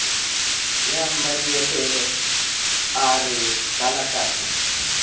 wa mmmadiepollo a re balakatha